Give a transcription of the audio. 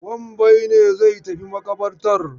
Wambai ne zai tafi maƙabartar.